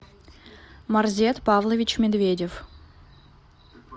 марзет павлович медведев